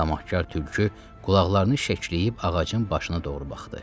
Tamaqkar tülkü qulaqlarını şəkləyib ağacın başına doğru baxdı.